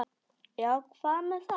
Já, hvað með það?